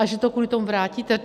A že to kvůli tomu vrátíte?